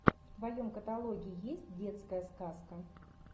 в твоем каталоге есть детская сказка